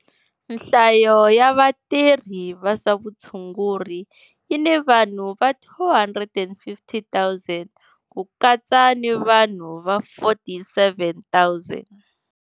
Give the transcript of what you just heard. Nhlayo ya vatirhi va swa vutshunguri yi ni vanhu va 250 000, ku katsa ni vanhu va 47 000.